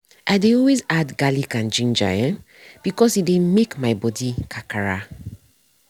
i dey always add garlic and ginger um because e dey make body kakara.